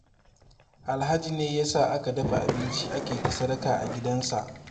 Alhaji ne ya sa aka dafa abinci ake ta sadaka a gidansa